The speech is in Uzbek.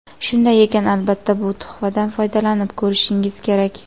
Shunday ekan, albatta bu tuhfadan foydalanib ko‘rishingiz kerak.